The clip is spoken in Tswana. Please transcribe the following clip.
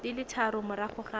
di le tharo morago ga